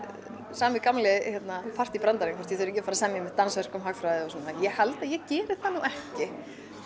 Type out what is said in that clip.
sami gamli partýbrandarinn hvort ég þurfi ekki að fara að semja dansverk um hagfræði og svona ég held að ég geri það nú ekki